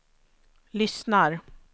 lyssnar